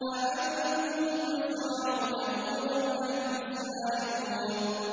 أَأَنتُمْ تَزْرَعُونَهُ أَمْ نَحْنُ الزَّارِعُونَ